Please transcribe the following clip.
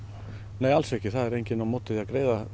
nei alls ekki það er engin á móti því að greiða